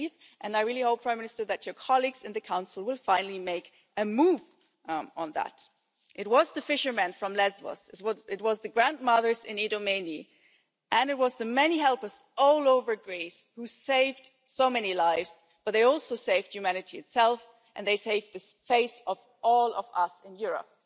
I really hope, Prime Minister, that your colleagues in the Council will finally make a move on that. It was the fishermen from Lesbos, it was the grandmothers in Idomeni and it was the many helpers all over Greece who saved so many lives, but they also saved humanity itself and they saved the face of all of us in Europe.